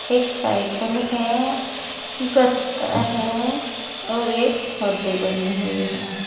एक साइकल है गत्ता है और एक हौदी बनी हुई है।